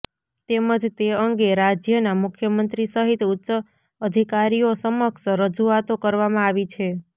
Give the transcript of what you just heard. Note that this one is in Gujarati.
તેમજ તે અંગે રાજયના મુખ્યમંત્રી સહિત ઉચ્ચઅધીકારીઓ સમક્ષ રજુઆતો કરવામા આવી છે